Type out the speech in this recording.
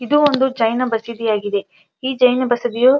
ಇದು ಒಂದು ಜೈನ ಬಸಿದಿ ಆಗಿದೆಈ ಜೈನ ಬಸಿದಿಯು ತುಂಬ--